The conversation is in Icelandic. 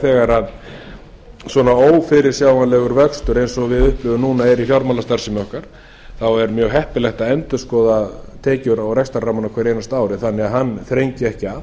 þegar svona ófyrirsjáanlegur vöxtur eins og við upplifum núna er í fjármálastarfsemi okkar þá er mjög heppilegt að endurskoða tekjur og rekstrarrammann á hverju einasta ári þannig að hann þrengi ekki